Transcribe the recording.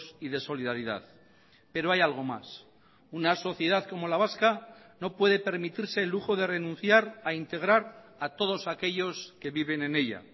y de solidaridad pero hay algo más una sociedad como la vasca no puede permitirse el lujo de renunciar a integrar a todos aquellos que viven en ella